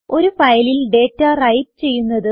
ഒരു ഫയലിൽ data write ചെയ്യുന്നത്